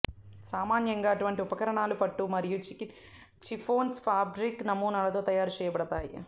సామాన్యంగా అటువంటి ఉపకరణాలు పట్టు మరియు చిఫ్ఫోన్ ఫాబ్రిక్ నమూనాలతో తయారు చేయబడతాయి